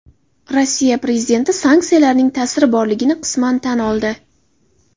Rossiya prezidenti sanksiyalarning ta’siri borligini qisman tan oldi.